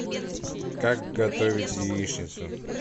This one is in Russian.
как готовить яичницу